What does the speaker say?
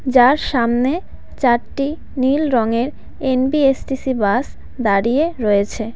যার সামনে চারটি নীল রঙের এন_বি_এস_টি_সি বাস দাঁড়িয়ে রয়েছে.